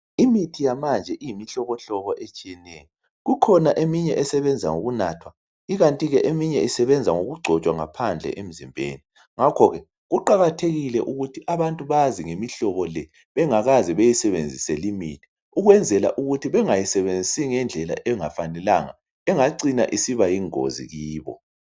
Imithi yamanje iyimhlobomhlobo etshiyeneyo, kukhona eminye esebenza ngokunathwa ikanti ke eminye esebenza ngokungcotshwa ngaphandle emzimbeni. Ngakho ke kuqakathekile ukuthi abantu bazi ngemihlobo le bengakaze bayisebenzisa limithi ukwenzela ukuthi bengayisebenzisa ngendlela engafanelanga engacina isiba yingozi kibo.